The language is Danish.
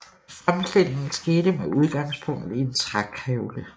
Fremstillingen skete med udgangspunkt i en trækævle